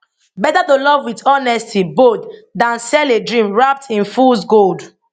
better to love wit honesty bold dan sell a dream wrapped in fools gold